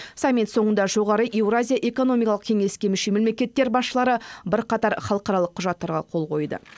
саммит соңында жоғары еуразия экономикалық кеңеске мүше мемлекеттер басшылары бірқатар халықаралық құжатқа қол қойды